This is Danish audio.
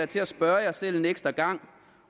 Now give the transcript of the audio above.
til at spørge jer selv en ekstra gang